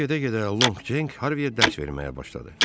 Gəmi gedə-gedə Long Ceng Harviyə dərs verməyə başladı.